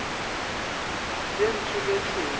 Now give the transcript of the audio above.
ye ntsho le ye tšhweu